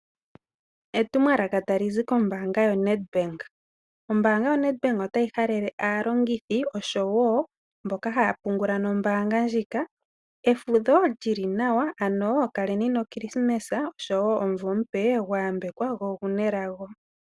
Etumwaaka talizi kombaanga yoNedbank. Ombaanga yoNedbank otayi halele aalongithi oshowo mboka haa pungula nombaanga ndjika efudho lyili nawa ano kaleni nokilisimasi oshowo omuvo omupe gwayambekwa googunelago.